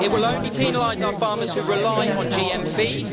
It will only penalise our farmers who rely on GM feed.